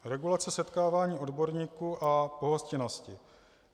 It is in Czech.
Regulace setkávání odborníků a pohostinnosti.